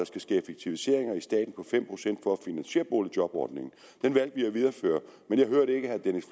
skal ske effektiviseringer i staten på fem procent for at finansiere boligjobordningen den vi at videreføre men jeg hørte ikke herre dennis